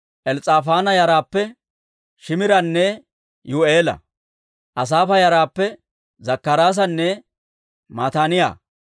Els's'aafaana yaraappe Shiimiranne Yi'u'eela. Asaafa yaraappe Zakkaraasanne Mataaniyaa.